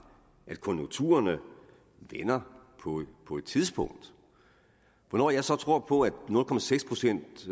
at konjunkturerne vender på et tidspunkt hvornår jeg så troede på at nul procent procent